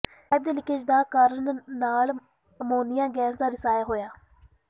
pipe ਦੇ leakage ਦਾ ਕਾਰਨ ਨਾਲ ਅਮੋਨੀਆ ਗੈਸ ਦਾ ਰਿਸਾਅ ਹੋਇਆ